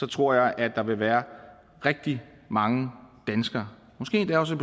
tror jeg at der vil være rigtig mange danskere måske endda også